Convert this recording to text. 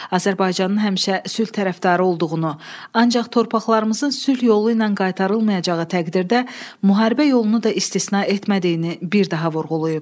Azərbaycanın həmişə sülh tərəfdarı olduğunu, ancaq torpaqlarımızın sülh yolu ilə qaytarılmayacağı təqdirdə müharibə yolunu da istisna etmədiyini bir daha vurğulayıb.